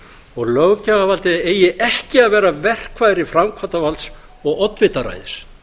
og löggjafarvaldið eigi ekki að vera verkfæri framkvæmdarvalds og oddvitaræðis